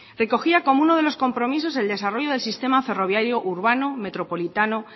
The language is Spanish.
recogía como uno de los compromisos el desarrollo del sistema ferroviario urbano metropolitano